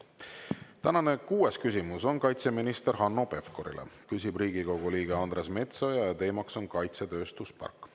Tänane kuues küsimus on kaitseminister Hanno Pevkurile, küsib Riigikogu liige Andres Metsoja ja teema on kaitsetööstuspark.